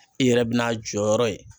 I yɛrɛ bɛ n'a jɔyɔrɔ ye.